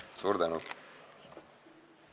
Suur tänu!